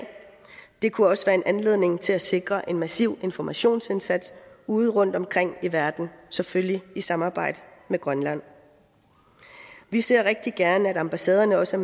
det kunne også være en anledning til at sikre en massiv informationsindsats ude rundt omkring i verden selvfølgelig i samarbejde med grønland vi ser rigtig gerne at ambassaderne også